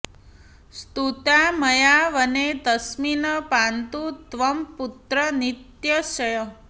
स्तुता मया वने तस्मिन् पान्तु त्वं पुत्र नित्यशः